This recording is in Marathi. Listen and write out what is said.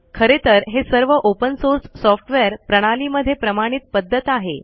खरे तर हे सर्व ओपन सोर्स सॉफ़्टवेयर प्रणाली मध्ये प्रमाणित पद्धत आहे